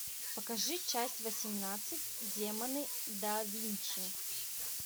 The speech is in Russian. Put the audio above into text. покажи часть восемнадцать демоны да винчи